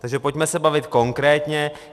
Takže pojďme se bavit konkrétně.